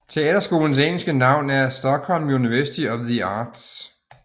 Teaterskolens engelske navn er Stockholm University of the Arts